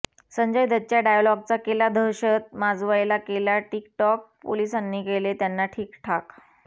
संजय दत्तच्या डायलॉगचा केला दहशत माजवायला केला टिक टॉक पोलिसांनी केले त्यांना ठीक ठाक